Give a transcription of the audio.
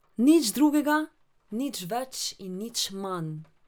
Nič drugega, nič več in nič manj.